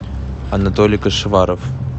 анатолий кашеваров